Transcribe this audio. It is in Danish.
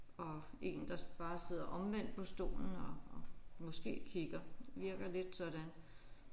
Og én der bare sidder omvendt på stolen og og måske kigger det virker lidt sådan